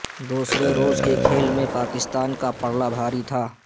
دوسرے روز کے کھیل میں پاکستان کا پلڑا بھاری تھا